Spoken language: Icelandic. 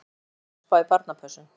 Nægur tími til að spá í barnapössun.